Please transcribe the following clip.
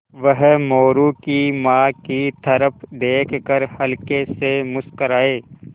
वह मोरू की माँ की तरफ़ देख कर हल्के से मुस्कराये